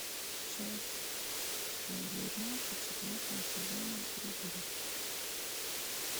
часть девятнадцать четвертого сезона пригород